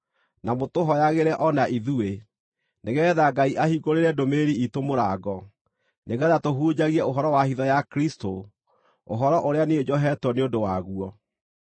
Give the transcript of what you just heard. Na mũtũhooyagĩre o na ithuĩ, nĩgeetha Ngai ahingũrĩre ndũmĩrĩri iitũ mũrango, nĩgeetha tũhunjagie ũhoro wa hitho ya Kristũ, ũhoro ũrĩa niĩ njohetwo nĩ ũndũ waguo.